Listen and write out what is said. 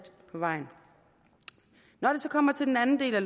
på vejen når det så kommer til den anden del af